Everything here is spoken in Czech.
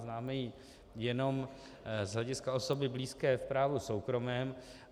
Známe ji jenom z hlediska osoby blízké v právu soukromém.